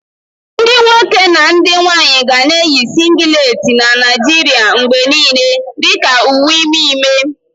Ndị nwoke na ndị nwanyị ga na-eyi singileti na Naijiria mgbe niile dị ka uwe ime ime.